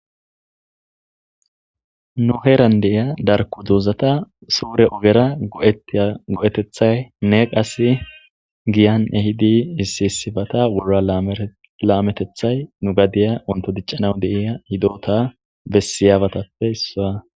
Nuheeran deiya darku duuzata suure ogera ego'etethay ne qass giyan ehidi issisibata wurora laametethay nu gadiya unto diccanaw deia hidota bessiyaabatappe issaa.